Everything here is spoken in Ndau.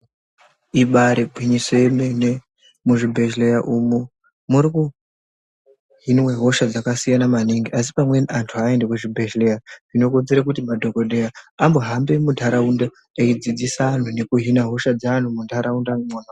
Ibari gwinyiso remene muzvibhedhlera umo muri kuhinwe hosha dzakasiyana maningi asi pamweni antu havaende kuzvibhedhlera zvinokonzera kuti madhokodheya ambo hambe muntaraunda eidzidzisa antu nekuhina hosha dzaanhu muntaraunda mwona.